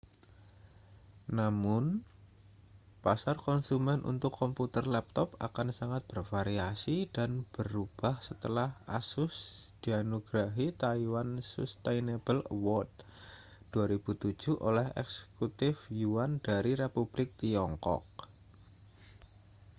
namun pasar konsumen untuk komputer laptop akan sangat bervariasi dan berubah setelah asus dianugerahi taiwan sustainable award 2007 oleh eksekutif yuan dari republik tiongkok